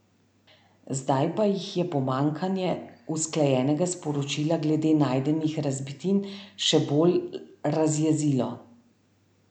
Zdaj pa jih je pomanjkanje usklajenega sporočila glede najdenih razbitin še bolj razjezilo.